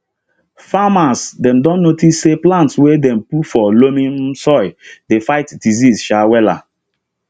farmers dem don notice say plants wey dem put for loamy um soil dey fight disease um wella